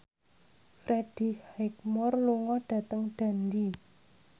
Freddie Highmore lunga dhateng Dundee